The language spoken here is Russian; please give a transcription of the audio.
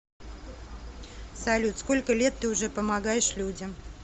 салют сколько лет ты уже помогаешь людям